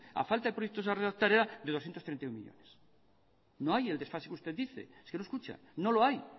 a falta de proyectos a redactar era de doscientos treinta y uno millónes no hay el desfase que usted dice es que no escucha no lo hay